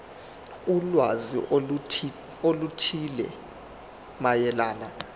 ulwazi oluthile mayelana